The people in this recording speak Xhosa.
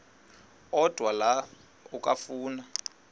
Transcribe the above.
odwa la okafuna